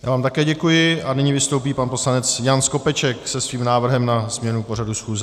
Já vám také děkuji a nyní vystoupí pan poslanec Jan Skopeček se svým návrhem na změnu pořadu schůze.